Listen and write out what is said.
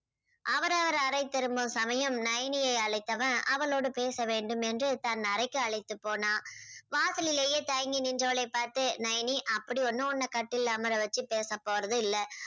அவரவர் அறை திரும்பும் சமயம் நயனியை அழைத்தவன் அவளோடு பேசவேண்டும் என்று தன் அறைக்கு அழைத்து போனான். வாசலிலேயே தயங்கி நின்றவளை பார்த்து நயனி அப்படி ஒண்ணும் உன்னை கட்டில்ல அமரவச்சு பேச போறது இல்லை.